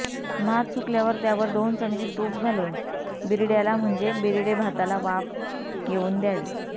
भात सुकल्यावर त्यावर दोन चमचे तूप घालून बिरड्याला म्हणजे बिरडे भाताला वाफ येऊन द्यावी